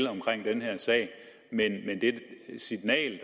den her sag men det signal